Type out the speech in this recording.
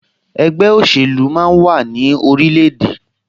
Ẹgbẹ́ òṣèlú máa ń wà ní orilẹ̀-èdè